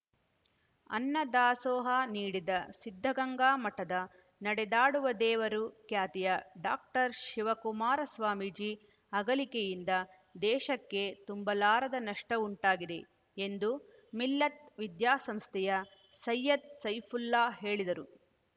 ಅನ್ನ ದಾಸೋಹ ನೀಡಿದ ಸಿದ್ಧಗಂಗಾ ಮಠದ ನಡೆದಾಡುವ ದೇವರು ಖ್ಯಾತಿಯ ಡಾಕ್ಟರ್ ಶಿವಕುಮಾರ ಸ್ವಾಮೀಜಿ ಅಗಲಿಕೆಯಿಂದ ದೇಶಕ್ಕೆ ತುಂಬಲಾರದ ನಷ್ಟಉಂಟಾಗಿದೆ ಎಂದು ಮಿಲ್ಲತ್‌ ವಿದ್ಯಾಸಂಸ್ಥೆಯ ಸೈಯದ್‌ ಸೈಫುಲ್ಲಾ ಹೇಳಿದರು